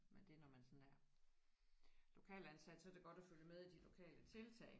Men det når man sådan er lokalansat så er det godt at følge med i de lokale tiltag